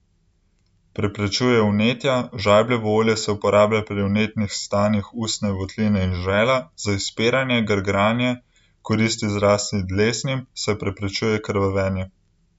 Preprečuje vnetja, žajbljevo olje se uporablja pri vnetnih stanjih ustne votline in žrela, za izpiranje, grgranje, koristi zlasti dlesnim, saj preprečuje krvavenje.